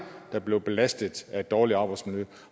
der blev belastet af et dårligt arbejdsmiljø